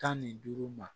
Tan ni duuru ma